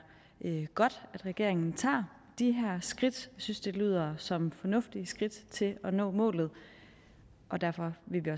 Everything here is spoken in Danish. godt at regeringen tager de her skridt synes det lyder som fornuftige skridt til at nå målet og derfor vil vi